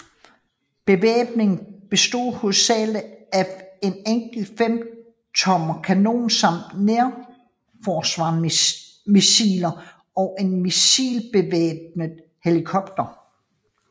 Bevæbningen bestod oprindeligt af en enkelt 5 tommer kanon samt nærforsvarsmissiler og en missilbevæbnet helikopter